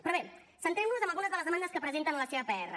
però bé centrem nos en algunes de les demandes que presenten en la seva pr